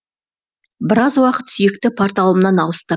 біраз уақыт сүйікті порталымнан алыстап